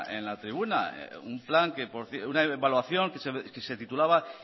en la tribuna una evaluación que se titulaba